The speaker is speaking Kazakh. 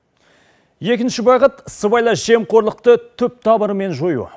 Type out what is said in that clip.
екінші бағыт сыбайлас жемқорлықты түп тамырымен жою